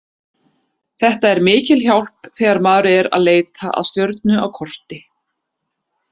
Þetta er mikil hjálp þegar maður er að leita að stjörnu á korti.